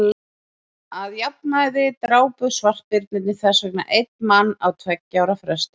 að jafnaði drápu svartbirnir þess vegna einn mann á tveggja ára fresti